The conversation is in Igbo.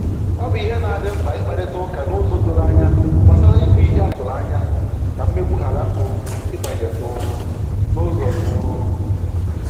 Ọ bụ ìhè na adị mkpa ikparịta ụka n’ụzọ doro ànyà gbasàrà ìbù ìhè a tụrụ anya, ka mmegbu ghara um ịbanye um n’ụzọ um